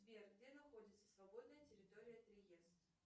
сбер где находится свободная территория триест